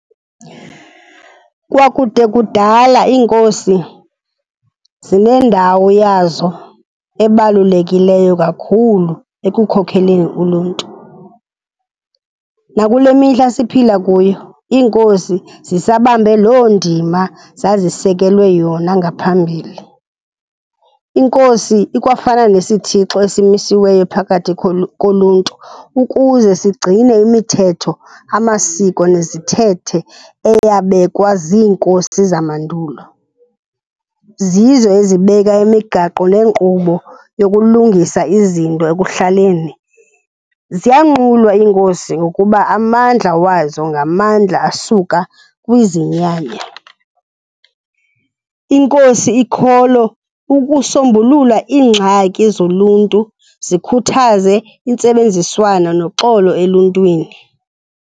Kwakude kudala iinkosi zinendawo yazo ebalulekileyo kakhulu ekukhokeleni uluntu. Nakule mihla siphila kuyo, iinkosi zisabambe loo ndima zazisekelwe yona ngaphambili. Inkosi ikwafana nesithixo esimisiweyo phakathi koluntu ukuze sigcine imithetho, amasiko, nezithethe eyabekwa ziinkosi zamandulo. Zizo ezibeka imigaqo neenkqubo yokulungisa izinto ekuhlaleni. Ziyanqulwa iinkosi ngokuba amandla wazo ngamandla asuka kwizinyanya. Inkosi ikholo ukusombulula iingxaki zoluntu, zikhuthaze intsebenziswana noxolo eluntwini.